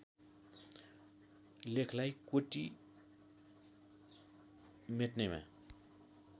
लेखलाई कोटि मेट्नेमा